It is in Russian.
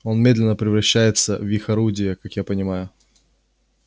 он медленно превращается в их орудие как я понимаю